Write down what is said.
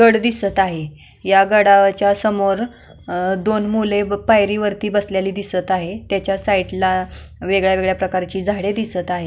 गड दिसत आहे ह्या गडाच्या समोर दोन मूल पायरीवरती बसलेली दिसत आहे त्याच्या साईडला वेगळ्या वेगळ्या प्रकारची झाडे दिसत आहेत.